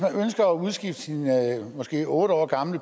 udskifte sin måske otte år gamle